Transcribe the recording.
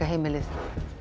heimilið